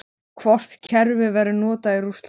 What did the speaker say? Hvort kerfið verður notað í Rússlandi?